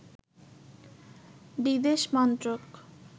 বিদেশ মন্ত্রক